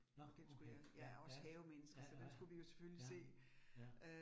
Nåh okay. Ja ja, ja ja ja, ja